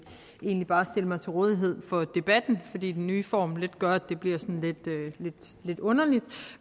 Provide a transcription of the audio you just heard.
egentlig bare stille mig til rådighed for debatten fordi den nye form lidt gør at det bliver sådan lidt underligt